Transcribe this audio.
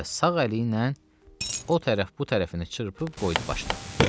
Və sağ əli ilə o tərəf bu tərəfini çırpıb qoydu başına.